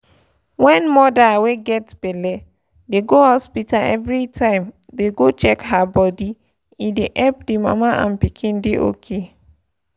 wen moda wey get belle dey go hospita oeveri time dey go check her bodi e dey epp di mama and pikin dey ok.